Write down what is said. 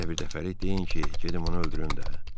Elə birdəfəlik deyin ki, gedim onu öldürüm də.